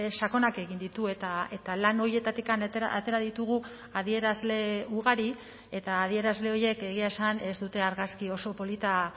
sakonak egin ditu eta lan horietatik atera ditugu adierazle ugari eta adierazle horiek egia esan ez dute argazki oso polita